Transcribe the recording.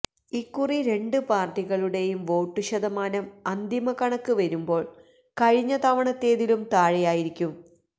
ഇക്കുറി രണ്ട് പാർട്ടികളുടെയും വോട്ടുശതമാനം അന്തിമക്കണക്ക് വരുമ്പോൾ കഴിഞ്ഞതവണത്തേതിലും താഴെയായിരിക്കും